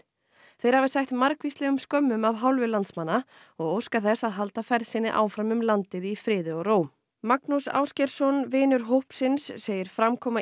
þeir hafi sætt margvíslegum skömmum af hálfu landsmanna og óska þess að halda ferð sinni áfram um landið í friði og ró Magnús Ásgeirsson vinur hópsins segir framkoma